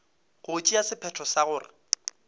go tšea sephetho sa gore